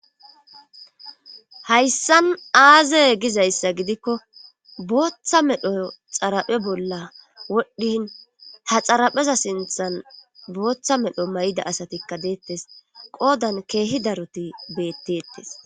hayssan aaze gizayssa gidikko booththa medho xaraphe bolla wodhdhin ta xarapheza sinthan booththa medho may7ida asatikka deettes qoodan keehi daroti beettettes